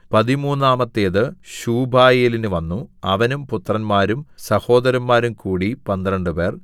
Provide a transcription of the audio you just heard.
പതിമൂന്നാമത്തേത് ശൂബായേലിന് വന്നു അവനും പുത്രന്മാരും സഹോദരന്മാരും കൂടി പന്ത്രണ്ടുപേർ